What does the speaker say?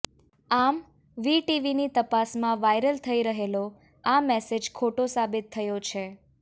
આમ વીટીવીની તપાસમાં વાયરલ થઈ રહેલો આ મેસેજ ખોટો સાબિત થયો છે